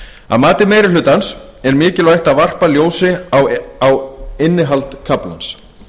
að mati meiri hlutans er mikilvægt að varpa ljósi á innihald kaflans